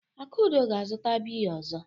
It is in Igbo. Akudo ga-azụta biya ọzọ.